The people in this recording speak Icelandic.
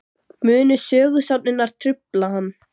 Munu sögusagnirnar trufla hann?